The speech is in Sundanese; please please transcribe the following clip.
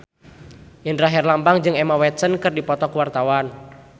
Indra Herlambang jeung Emma Watson keur dipoto ku wartawan